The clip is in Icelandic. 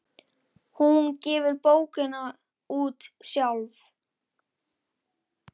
Hún gefur bókina út sjálf.